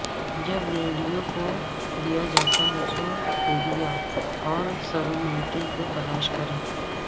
جب ریڈیو کو دیا جاتا ہے تو ایریا اور سرومینٹری کو تلاش کریں